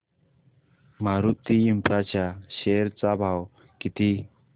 Maruti infra च्या share चा भाव किती